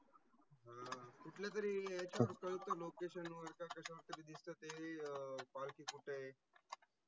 अह कुटले तरही याचा कळत location वर का कशा वर दिसत ते अं पालखी कुठाय?